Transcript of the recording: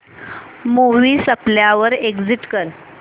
movie संपल्यावर exit कर